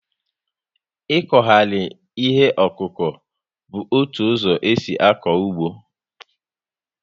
Ikughari ihe okuku bu ótụ ụzọ esi ako ụgbọ